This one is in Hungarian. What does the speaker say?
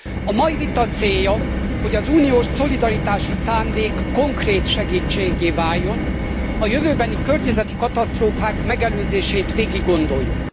A mai vita célja, hogy az uniós szolidaritási szándék konkrét segítséggé váljon és a jövőbeni környezeti katasztrófák megelőzését végiggondoljuk.